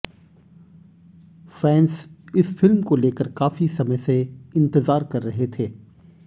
fans इस film को लेकर काफी समय से इंतजार कर रहे थे